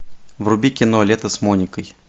вруби кино лето с моникой